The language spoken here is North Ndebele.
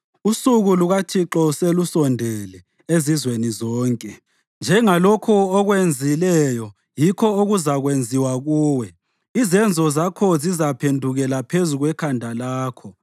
Usuku lukaThixo selusondele ezizweni zonke. Njengalokho okwenzileyo, yikho okuzakwenziwa kuwe; izenzo zakho zizaphendukela phezu kwekhanda lakho.